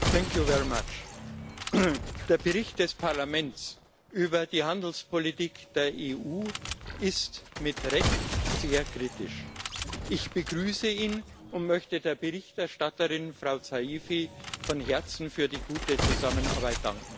Herr Präsident! Der Bericht des Parlaments über die Handelspolitik der EU ist mit Recht sehr kritisch. Ich begrüße ihn, und möchte der Berichterstatterin Frau Saïfi von Herzen für die gute Zusammenarbeit danken.